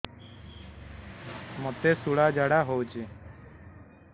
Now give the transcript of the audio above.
ମୋତେ ଶୂଳା ଝାଡ଼ା ହଉଚି